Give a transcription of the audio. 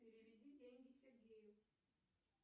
переведи деньги сергею